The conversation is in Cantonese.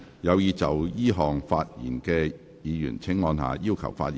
有意就這項議案發言的議員請按下"要求發言"按鈕。